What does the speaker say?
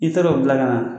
I taara o bila ka na